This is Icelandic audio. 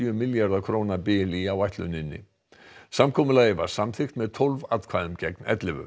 milljarða króna bil í áætluninni samkomulagið var samþykkt með tólf atkvæðum gegn ellefu